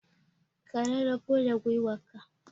Ka rarafo da gwiwanka